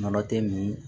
Nɔnɔ tɛ nin